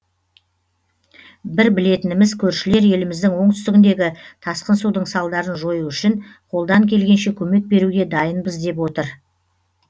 бір білетініміз көршілер еліміздің оңтүстігіндегі тасқын судың салдарын жою үшін қолдан келгенше көмек беруге дайынбыз деп отыр